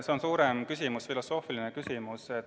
See on suurem küsimus, filosoofiline küsimus.